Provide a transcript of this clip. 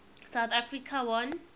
south africa won